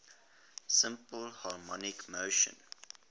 simple harmonic motion